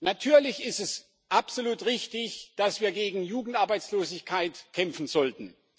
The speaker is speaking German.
Natürlich ist es absolut richtig, dass wir gegen Jugendarbeitslosigkeit kämpfen sollten.